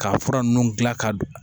K'a fura ninnu dilan ka